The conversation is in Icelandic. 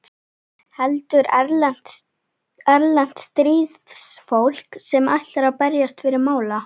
Heldur erlent stríðsfólk sem ætlar að berjast fyrir mála.